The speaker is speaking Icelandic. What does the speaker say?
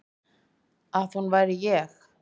Að hún væri ég.